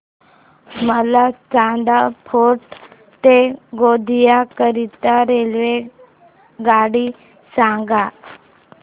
मला चांदा फोर्ट ते गोंदिया करीता रेल्वेगाडी सांगा